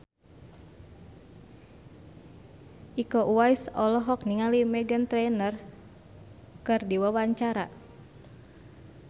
Iko Uwais olohok ningali Meghan Trainor keur diwawancara